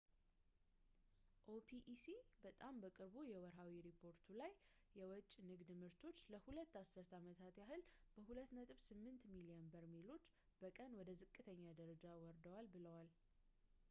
ኦፒኢሲ በጣም በቅርቡ የወርሃዊ ሪፖርቱ ላይ የወጭ ንግድ ምርቶች ለሁለት አስርት ዓመታት ያህል በ2.8 ሚሊዮን በርሜሎች በቀን ወደ ዝቅተኛ ደረጃ ወርደዋል ብለዋል